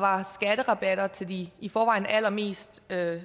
var skatterabatter til de i forvejen allermest